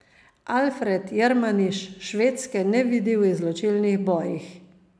Alfred Jermaniš Švedske ne vidi v izločilnih bojih.